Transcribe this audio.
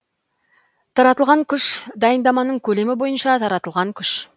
таратылған күш дайындаманың көлемі бойынша таратылған күш